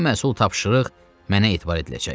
Bu məsul tapşırıq mənə etibar ediləcək.